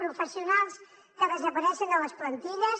professionals que desapareixen de les plantilles